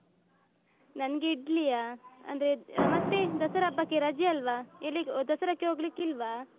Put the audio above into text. ನನಗೆ ಇಡ್ಲಿಯ ಅಂದ್ರೆ ಮತ್ತೆ ದಸರಾ ಹಬ್ಬಕ್ಕೆ ರಜೆ ಅಲ್ವಾ ಎಲ್ಲಿಗೆ ದಸರಕ್ಕೆ ಹೋಗ್ಲಿಕ್ಕೆ ಇಲ್ವಾ?